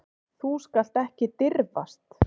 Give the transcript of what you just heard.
Þú skalt ekki dirfast.